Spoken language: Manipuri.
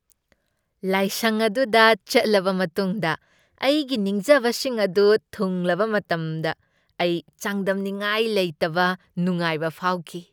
ꯂꯥꯏꯁꯪ ꯑꯗꯨꯗ ꯆꯠꯂꯕ ꯃꯇꯨꯡꯗ ꯑꯩꯒꯤ ꯅꯤꯡꯖꯕꯁꯤꯡ ꯑꯗꯨ ꯊꯨꯡꯂꯕ ꯃꯇꯝꯗ ꯑꯩ ꯆꯥꯡꯗꯝꯅꯉꯥꯏ ꯂꯩꯇꯕ ꯅꯨꯡꯉꯥꯏꯕ ꯐꯥꯎꯈꯤ꯫